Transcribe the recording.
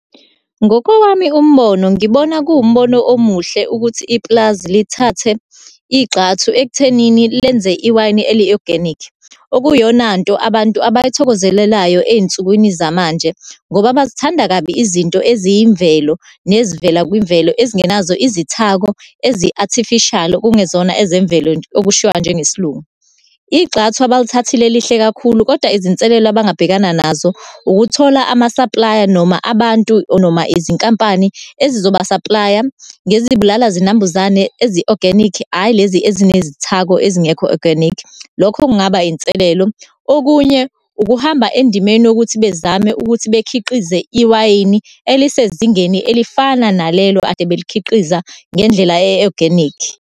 Ngokowami umbono, ngibona kuwumbono omuhle ukuthi ipulazi lithathe igxathu ekuthenini lenze iwayini eliyi-oganikhi. Okuyiyonanto abantu abayithokozelelayo ey'nsukwini zamanje, ngoba bazithanda kabi izinto eziyimvelo nezivela kwimvelo, ezingenazo izithako ezi-artificial, okungezona ezemvelo okushiwa njengesiLungu. Igxathu abalithathile lihle kakhulu kodwa izinselelo abangabhekana nazo, ukuthola amasaplaya, noma abantu, or noma izinkampani ezizobasaplaya ngezibulala zinambuzane ezi-oganikhi, hhayi lezi ezinezithako ezingekho oganikhi, lokho kungaba inselelo. Okunye, ukuhamba endimeni yokuthi bezame ukuthi bekhiqize iwayini elisezingeni elifana nalelo ade belikhiqiza ngendlela e-oganikhi.